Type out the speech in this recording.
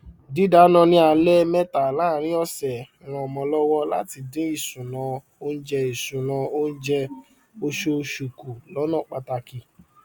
dídáná ni alé méta láàrin ọsẹ ranmo lówó láti dín ìṣúná oúnjẹ ìṣúná oúnjẹ osoòsù ku lọna pataki